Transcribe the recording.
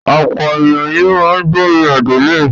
Ọ̀pọ̀ ènìyàn ni ó ń gbọ́rin Adele.